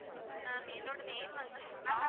ma'am என்னுடைய name வந்து சுபா.